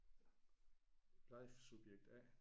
Leif subjekt A